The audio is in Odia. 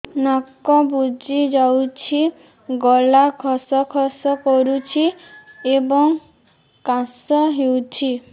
ନାକ ବୁଜି ଯାଉଛି ଗଳା ଖସ ଖସ କରୁଛି ଏବଂ କାଶ ହେଉଛି